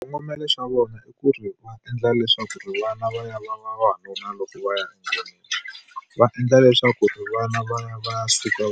Xikongomelo xa vona i ku ri va endla leswaku ri vana va ya va ya va vavanuna loko va ya . Va endla leswaku ri vana va ya va ya suka